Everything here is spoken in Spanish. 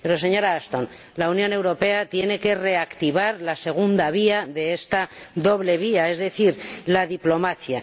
Pero, señora Ashton, la Unión Europea tiene que reactivar la segunda vía de esta doble vía, es decir, la diplomacia.